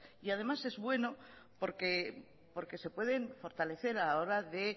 y además es bueno porque se pueden fortalecer a la hora de